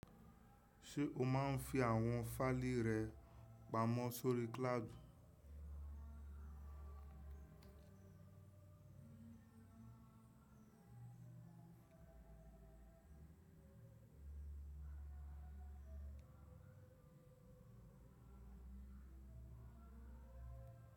Ṣé o máa ń fi àwọn fáìlì rẹ pamọ́ sórí cloud?